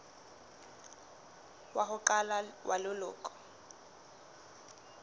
wa ho qala wa leloko